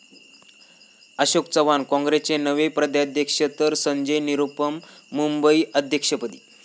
अशोक चव्हाण काँग्रेसचे नवे प्रदेशाध्यक्ष तर संजय निरुपम मुंबई अध्यक्षपदी